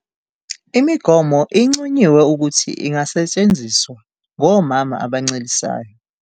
Imigomo inconyiwe ukuthi ingasetshenziswa ngomama abancelisayo.